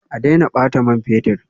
A daina bata man fetur